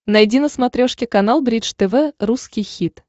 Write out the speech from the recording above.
найди на смотрешке канал бридж тв русский хит